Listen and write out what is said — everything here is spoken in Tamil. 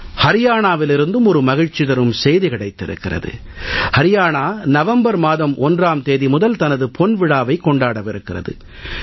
அரியானாவிலிருந்தும் ஒரு மகிழ்ச்சி தரும் செய்தி கிடைத்திருக்கிறது அரியானா நவம்பர் மாதம் 1ஆம் தேதி முதல் தனது பொன்விழாவைக் கொண்டாடவிருக்கிறது